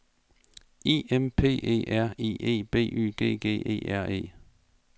I M P E R I E B Y G G E R E